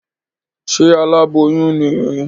Ṣe aláboyún ní?